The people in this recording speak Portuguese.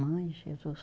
Mãe, Jesus.